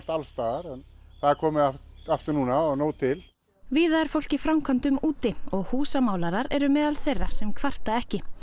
alls staðar en það er komið aftur núna og nóg til víða er fólk í framkvæmdum úti og eru meðal þeirra sem að kvarta ekki